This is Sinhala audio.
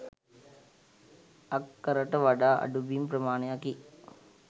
අක්කරට වඩා අඩු බිම් ප්‍රමාණයකි.